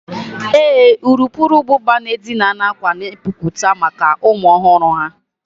Ee, urukurubụba na-edina akwa na epupụta maka ụmụ ọhụrụ ha